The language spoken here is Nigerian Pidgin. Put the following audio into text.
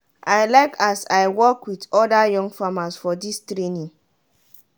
i like as i work with oda young farmers for dis training.